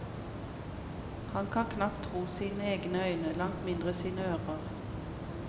Han kan knapt tro sine egne øyne, langt mindre sine ører.